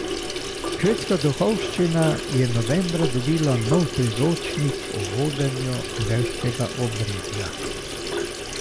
Švedska duhovščina je novembra dobila nov priročnik o vodenju verskega obredja.